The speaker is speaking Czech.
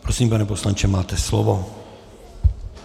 Prosím, pane poslanče, máte slovo.